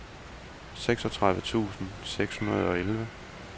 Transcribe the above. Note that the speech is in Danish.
seksogtredive tusind seks hundrede og elleve